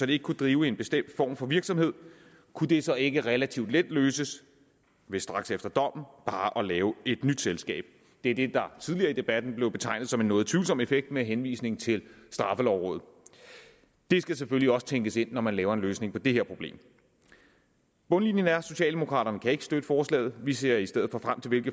det ikke kunne drive en bestemt form for virksomhed kunne det så ikke relativt let løses ved straks efter dommen bare at lave et nyt selskab det er det der tidligere i debatten blev betegnet som en noget tvivlsom effekt med henvisning til straffelovrådet det skal selvfølgelig også tænkes ind når man laver en løsning på det her problem bundlinjen er at socialdemokraterne ikke kan støtte forslaget vi ser i stedet for frem til